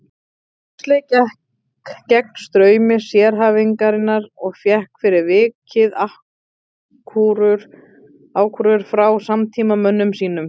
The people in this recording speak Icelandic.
Huxley gekk gegn straumi sérhæfingarinnar og fékk fyrir vikið ákúrur frá samtímamönnum sínum.